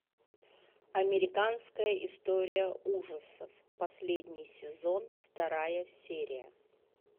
американская история ужасов последний сезон вторая серия